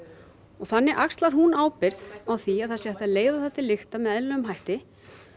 og þannig axlar hún ábyrgð á því að það sé hægt að leiða það til lykta með eðlilegum hætti